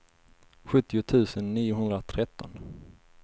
sjuttio tusen niohundratretton